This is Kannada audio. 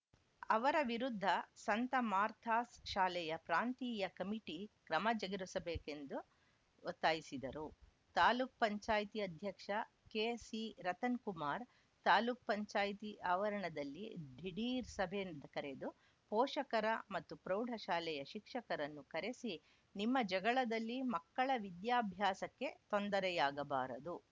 ಅವರ ವಿರುದ್ಧ ಸಂತ ಮಾರ್ಥಾಸ್‌ ಶಾಲೆಯ ಪ್ರಾಂತೀಯ ಕಮಿಟಿ ಕ್ರಮ ಜಗುರಿಸಬೇಕೆಂದು ಒತ್ತಾಯಿಸಿದರು ತಾಲೂಕ್ ಪಂಚಾಯತಿ ಅಧ್ಯಕ್ಷ ಕೆಸಿರತನ್‌ ಕುಮಾರ್‌ ತಾಲೂಕ್ ಪಂಚಾಯತಿ ಆವರಣದಲ್ಲಿ ಡಿಢೀರ್‌ ಸಭೆ ಕರೆದು ಪೋಷಕರ ಮತ್ತು ಪ್ರೌಢ ಶಾಲೆಯ ಶಿಕ್ಷಕರನ್ನು ಕರೆಸಿ ನಿಮ್ಮ ಜಗಳದಲ್ಲಿ ಮಕ್ಕಳ ವಿದ್ಯಾಭಾಸಕ್ಕೆ ತೊಂದರೆಯಾಗಬಾರದು